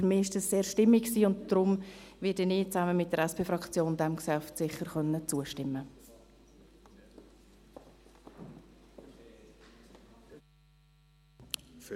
Für mich war dies sehr stimmig, und daher werde ich zusammen mit der SP-Fraktion diesem Geschäft sicher zustimmen können.